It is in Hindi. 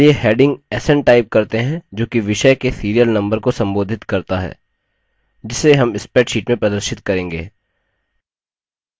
चलिए heading sn type करते हैं जो कि विषय के serial number को संबोधित करता है जिसे हम spreadsheet में प्रदर्शित करेंगे